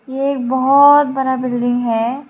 ये बहोत बड़ा बिल्डिंग है।